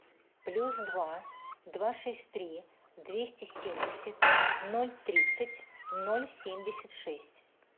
плюс два два шесть три двести семьдесят ноль тридцать ноль семьдесят шесть